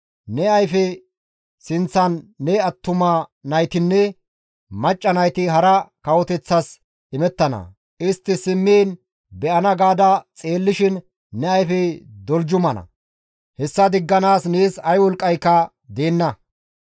Ne ayfe sinththan ne attuma naytinne macca nayti hara kawoteththas imettana; istti simmiin be7ana gaada ne xeellishin ne ayfey doljumana; hessa digganaas nees ay wolqqayka deenna.